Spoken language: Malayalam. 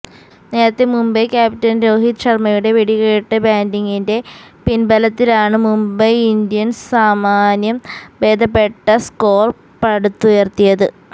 നേരത്തെ മുംബൈ ക്യാപ്റ്റന് രോഹിത് ശര്മ്മയുടെ വെടിക്കെട്ട് ബാറ്റിംഗിന്റെ പിന്ബലത്തിലാണ് മുംബൈ ഇന്ത്യന്സ് സാമാന്യം ഭേദപ്പെട്ട സ്കോര് പടുത്തുയര്ത്തിയത്